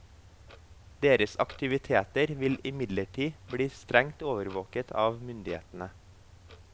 Deres aktiviteter vil imidlertid bli strengt overvåket av myndighetene.